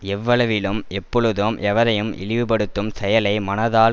எவ்வளவிலும் எப்பொழுதும் எவரையும் இழிவுபடுத்தும் செயலை மனத்தால்